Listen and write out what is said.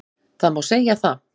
Það má segja það